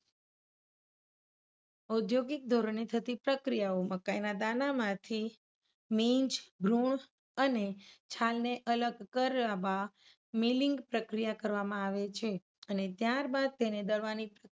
ઔધૌગિક ધોરણે થતી પ્રક્રિયાઓમાં મકાઇના દાણામાંથી બીજ, ભ્રુણ અને છાલને અલગ કરવા મિલિંગ પ્રક્રિયા કરવામાં આવે છેે. અને ત્યારબાદ તેને દળવાની